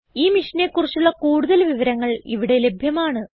ഈ മിഷനെ കുറിച്ചുള്ള കുടുതൽ വിവരങ്ങൾ ഇവിടെ ലഭ്യമാണ്